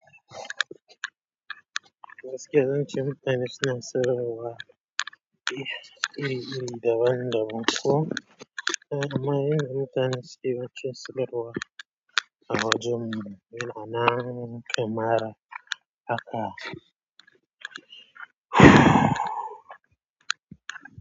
Gaskiya zance mutane suna son rawa iri-iri daban-daban ko amma yadda mutane suke rawa a wajen mu yana nan kamar haka.